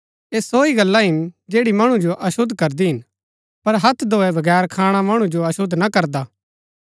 ऐह सो ही गल्ला हिन जैड़ी मणु जो अशुद्ध करदी हिन पर हत्थ धोऐ बगैर खाणा मणु जो अशुद्ध ना करदा